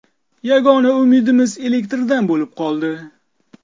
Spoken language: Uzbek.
Yagona umidimiz elektrdan bo‘lib qoldi.